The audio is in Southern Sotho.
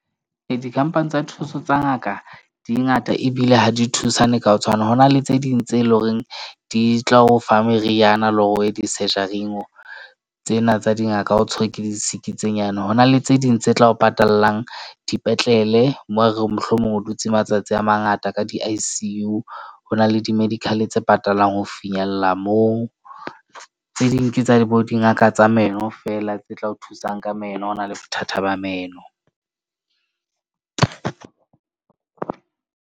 Ee, di-company tsa thuso tsa ngaka di ngata ebile ha di thusane ka ho tshwana. Ho na le tse ding tse leng hore di tla o fa meriana le hore tsena tsa di ngaka, o tshwerwe ke disiki tse nyane. Ho na le tse ding tse tla o patalang dipetlele. Moo ho re mohlomong o dutse matsatsi a mangata ka di-I_C_U. Ho na le di-medical tse patalwang ho finyella moo tse ding ke tsa di bo dingaka tsa meno fela tse tla o thusang ka meno, ha o na le bothata ba meno.